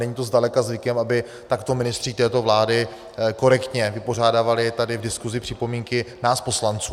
Není to zdaleka zvykem, aby takto ministři této vlády korektně vypořádávali tady v diskusi připomínky nás poslanců.